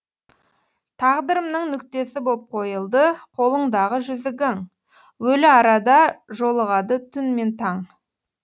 тағдырымның нүктесі боп қойылды қолыңдағы жүзігің өліарада жолығады түн мен таң